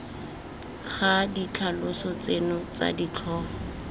ga ditlhaloso tseno tsa ditlhogo